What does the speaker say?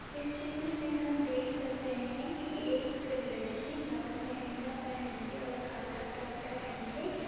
इस चित्र में हम देख सकते है कि एक लड़की लाल लहंगा पहन के और काला टॉप पहन के --